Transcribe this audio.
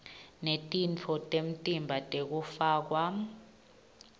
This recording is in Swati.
netitfo temtimba tekufakwa